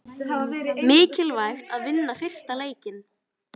Mikilvægt að vinna fyrsta leikinn